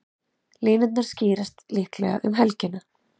Línurnar skýrast líklega um helgina.